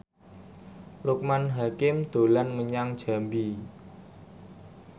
Loekman Hakim dolan menyang Jambi